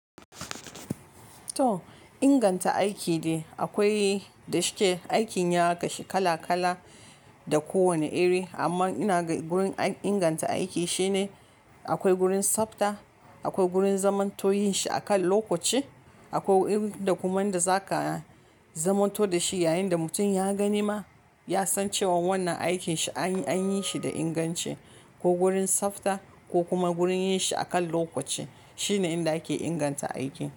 To inganta aiki dai akwai, da shike aikin ya kashi kala kala da kowane iri. Amman ina ga gurin inganta aiki shine akwai gurin tsafta, akwai gurin zamanto yin shi a kan lokaci, akwai irin da kuma yanda zaka zamanto da shi yayin da mutum ya gani ma ya san cewa wannan aikin shi an yi shi da inganci. Ko gurin tsafta ko kuma gurin yin shi a kan lokaci shine yanda ake inganta aiki.